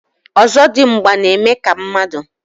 ọzọdimgba na-eme ka mmadụ.